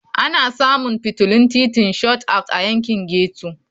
Ana samun fitilun titin Shot Out a yankin ghetto.